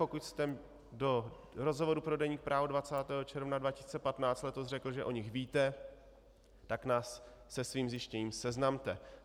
Pokud jste do rozhovoru pro deník Právo 20. června 2015 letos řekl, že o nich víte, tak nás se svým zjištěním seznamte.